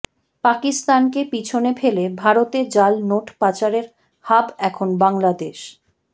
পাকিস্তানকে পিছনে ফেলে ভারতে জাল নোট পাচারের হাব এখন বাংলাদেশ